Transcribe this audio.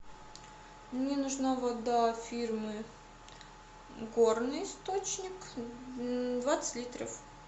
мне нужна вода фирмы горный источник двадцать литров